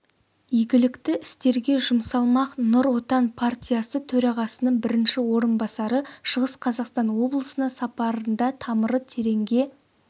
игілікті істерге жұмсалмақ нұр отан партиясы төрағасының бірінші орынбасары шығыс қазақстан облысына сапарында тамыры тереңге